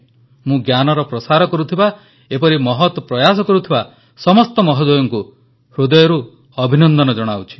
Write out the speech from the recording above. ମୁଁ ଜ୍ଞାନର ପ୍ରସାର କରୁଥିବା ଏପରି ମହତ୍ ପ୍ରୟାସ କରୁଥିବା ସମସ୍ତ ମହୋଦୟଙ୍କୁ ହୃଦୟରୁ ଅଭିନନ୍ଦନ ଜଣାଉଛି